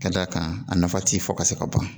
Ka d'a kan a nafa ti fɔ ka se ka ban